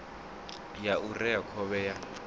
ya u rea khovhe ya